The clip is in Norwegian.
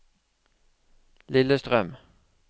Lillestrøm